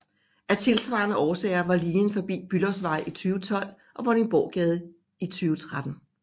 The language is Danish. Af tilsvarende årsager var linjen forbi Bülowsvej i 2012 og Vordingborggade i 2013